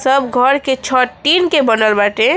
सब घर के छत टीन के बनल बाटे।